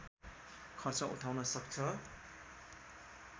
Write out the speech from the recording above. खर्च उठाउन सक्छ